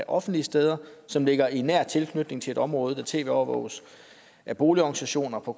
offentlige steder som ligger i nær tilknytning til et område der tv overvåges af boligorganisationer på